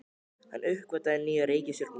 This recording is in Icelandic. Hann uppgötvaði nýja reikistjörnu!